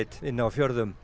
nei